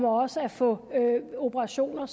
også at få operationer